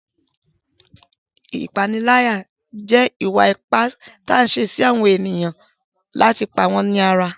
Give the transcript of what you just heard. Ìpániláyà jẹ́ ìwà ipá tí a ń ṣe sí ènìyàn láti pa wọ́n lára.